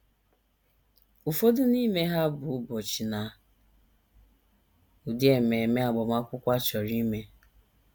Ụfọdụ n’ime ha bụ ụbọchị na ụdị ememe agbamakwụkwọ a chọrọ ime.